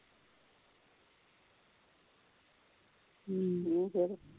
ਕੀ ਫਿਰ